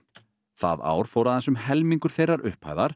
það ár fór aðeins um helmingur þeirrar upphæðar